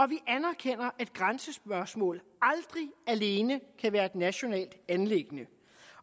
vi anerkender at grænsespørgsmål aldrig alene kan være et nationalt anliggende